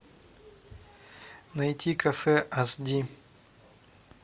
найти кафе ас ди